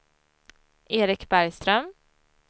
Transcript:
Eric Bergström